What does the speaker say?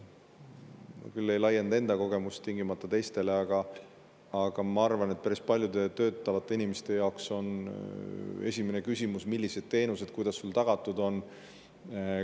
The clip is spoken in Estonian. Ma küll ei laienda enda kogemust tingimata teistele, aga ma arvan, et päris paljude töötavate inimeste jaoks on esimene küsimus, millised on teenused ja kuidas need tagatud on.